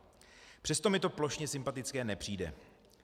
Přesto mi to plošně sympatické nepřijde.